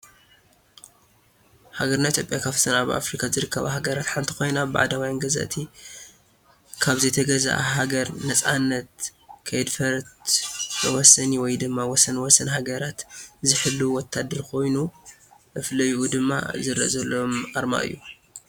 ሃገርና ኢትዮጵያ ካፍተን አብ አፍርካ ዝርከባ ሃገራት ሐንቲ ኮይና ብባዕዳውያን ገዛእቲ ከብ ዘይተገዝአት ሃገር ነፃነታ ከይአድፈረት መዋሰኒ ወይ ድማ ወሰን ወሰን ሀገራት ዝሕልው ወታደር ኮይኑ መፍለይኡ ድማ ዝርአ ዘሎ አርማ እዮ።